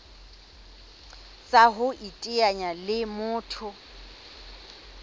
tsa ho iteanya le motho